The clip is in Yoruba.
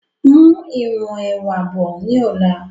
Mú ìwọ̀n ẹwà bọ̀ ni ọ̀la!